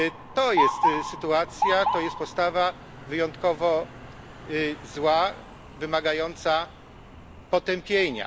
To jest sytuacja, to jest podstawa wyjątkowo zła, wymagająca potępienia.